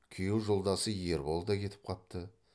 күйеу жолдасы ербол да кетіп қапты